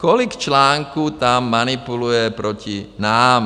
Kolik článků tam manipuluje proti nám.